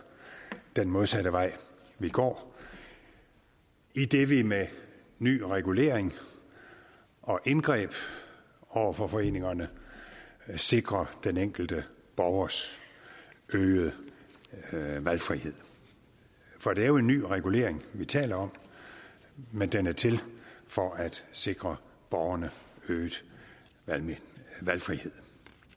den modsatte vej vi går idet vi med ny regulering og indgreb over for foreningerne sikrer den enkelte borgers øgede valgfrihed det er jo en ny regulering vi taler om men den er til for at sikre borgerne øget valgfrihed